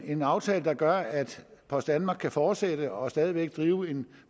en aftale der gør at post danmark kan fortsætte og stadig væk drive en